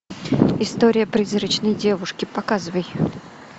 история призрачной девушки показывай